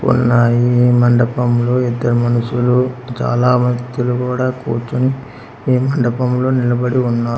ఉన్నాయి మండపంలో ఇద్దరు మనుషులు చాలా వ్యక్తులు కూడా కూర్చొని ఈ మండపంలో నిలబడి ఉన్నా--